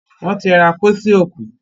won tí ra pósí òkú.